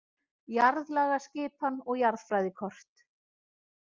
Jarðlagaskipan og jarðfræðikort.